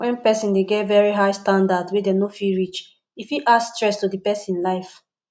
when person dey get very high standards wey dem no fit reach e fit add stress to di person life